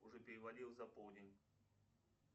уже перевалил за полдень